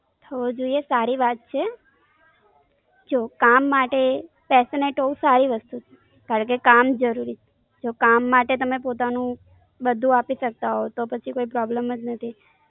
થવો જોઈએ સારી વાત છે. જો, કામ માટે Passionate હોવું સારી વસ્તુ છે. કારણ કે કામ જરૂરી છે. જો કામ માટે તમે પોતાનું બધું આપી સકતા હો તો પછી કોઈ Problem જ નથી.